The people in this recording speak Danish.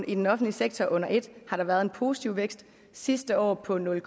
i den offentlige sektor under et har der været en positiv vækst sidste år på nul